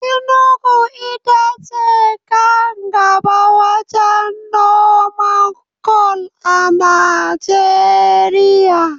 Enugu ita ce kan gaɓa wajen noman kwal a Najeriya.